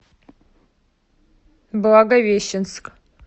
благовещенск